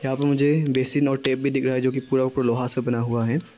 यहां पर मुझे बेसिन और टैब भी दिख रहा है जो की पूरा पुरा लोहा से बना हुआ है।